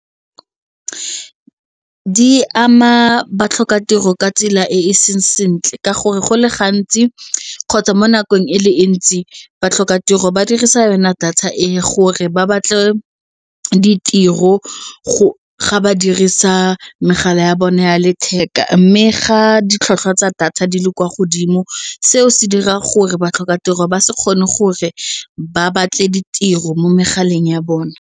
Di ama batlhokatiro ka tsela e e seng sentle ka gore go le gantsi kgotsa mo nakong e le ntsi batlhokatiro ba dirisa yona data e gore ba batle ditiro ga ba dirisa megala ya bone ya letheka mme ga ditlhotlhwa tsa data di le kwa godimo seo se dira gore batlhokatiro ba se kgone gore ba batle ditiro mo megaleng ya bona.